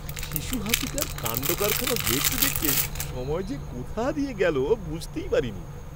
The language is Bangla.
শিশু হাতিটার কাণ্ডকারখানা দেখতে দেখতে সময় যে কোথা দিয়ে গেল বুঝতেই পারিনি।